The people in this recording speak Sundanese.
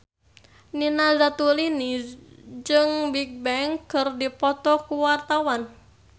Nina Zatulini jeung Bigbang keur dipoto ku wartawan